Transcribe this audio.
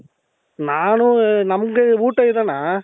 ನಾನು ನಮಗೆ ಊಟ ಇದೆಣ್ಣಾ